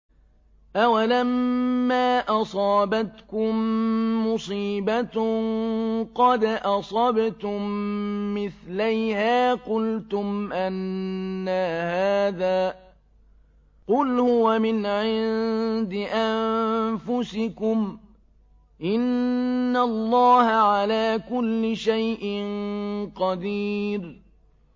أَوَلَمَّا أَصَابَتْكُم مُّصِيبَةٌ قَدْ أَصَبْتُم مِّثْلَيْهَا قُلْتُمْ أَنَّىٰ هَٰذَا ۖ قُلْ هُوَ مِنْ عِندِ أَنفُسِكُمْ ۗ إِنَّ اللَّهَ عَلَىٰ كُلِّ شَيْءٍ قَدِيرٌ